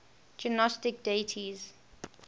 gnostic deities